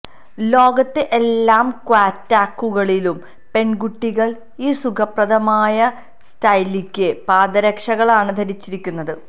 ലോകത്തെ എല്ലാ ക്യാറ്റ്വാക്കുകളിലും പെൺകുട്ടികൾ ഈ സുഖപ്രദമായ സ്റ്റൈലിക്ക് പാദരക്ഷകളാണ് ധരിച്ചിരിക്കുന്നത്